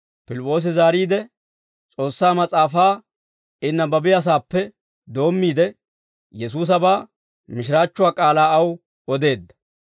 Pilip'p'oosi zaariide, S'oossaa mas'aafaa I nabbabiyaasaappe doommiide, Yesuusabaa mishiraachchuwaa k'aalaa aw odeedda.